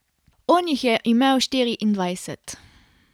On jih je imel štiriindvajset.